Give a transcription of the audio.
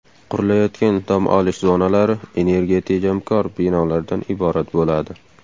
Qurilayotgan dam olish zonalari energiyatejamkor binolardan iborat bo‘ladi.